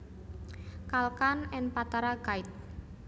Kalkan and Patara guide